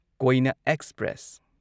ꯀꯣꯢꯅ express